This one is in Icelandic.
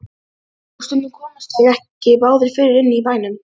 Og stundum komust þeir ekki báðir fyrir inni í bænum.